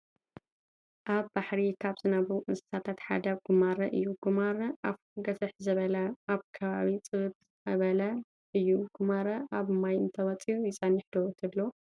ኣብ ባሕሪ ካብ ዝነብሩ እንስሳታት ሓደ ጉማረ እዩ፡፡ ጉማረ ኣፉ ግፍሕ ዝበለን ኣብ ከባቢ ፅብብ ዝበለን እዩ፡፡ ጉማረ ካብ ማይ እንተወፅዩ ይፀንሐ ዶ ትብሉ?